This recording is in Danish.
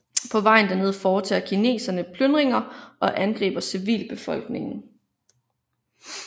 På vejen derned foretager kineserne plyndringer og angriber civilbefolkningen